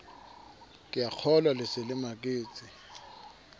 keakgolwa le se le maketse